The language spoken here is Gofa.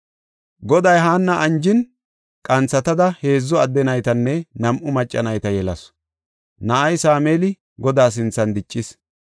Goday Haanna anjin, qanthatada heedzu adde naytanne nam7u macca nayta yelasu. Na7ay Sameeli Godaa sinthan diccis.